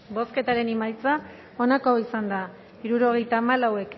bozketaren emaitza onako izan da hirurogeita hamairu